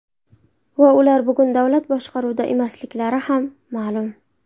Va ular bugun davlat boshqaruvida emasliklari ham ma’lum.